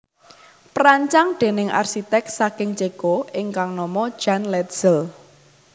Perancang déning arsiték saking Ceko ingkang nama Jan Letzel